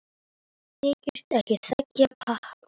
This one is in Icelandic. Þykist ekki þekkja pabba sinn!